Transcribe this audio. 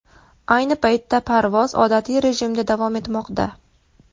Ayni paytda parvoz odatiy rejimda davom etmoqda.